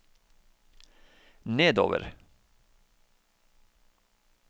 nedover